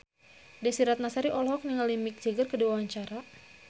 Desy Ratnasari olohok ningali Mick Jagger keur diwawancara